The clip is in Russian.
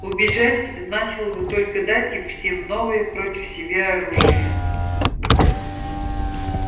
убежать значило бы только дать им всем новые против себя оружие